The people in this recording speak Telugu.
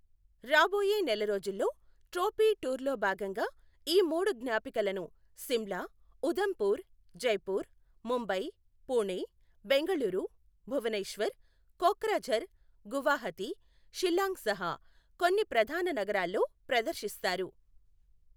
రాబోయే నెల రోజుల్లో, ట్రోఫీ టూర్లో భాగంగా ఈ మూడు జ్ఞాపికలను సిమ్లా, ఉధంపూర్, జైపూర్, ముంబై, పుణె, బెంగళూరు, భువనేశ్వర్, కోక్రాఝార్, గువాహతి, షిల్లాంగ్ సహా కొన్ని ప్రధాన నగరాల్లో ప్రదర్శిస్తారు.